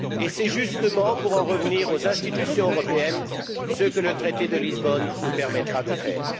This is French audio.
C'est justement, pour en revenir aux institutions européennes, ce que le traité de Lisbonne nous permettra de faire.